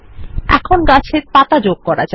এখন গাছের পাতা যোগ করা যাক